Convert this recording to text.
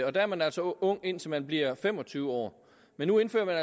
og der er man altså ung indtil man bliver fem og tyve år men nu indfører man